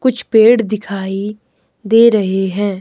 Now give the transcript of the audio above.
कुछ पेड़ दिखाई दे रहे हैं।